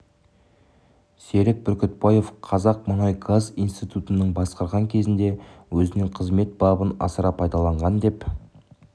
серік бүркітбаев қазақ мұнай және газ институтын басқарған кезінде өзінің қызмет бабын асыра пайдаланған деп